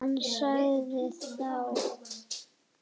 Hann sagði þó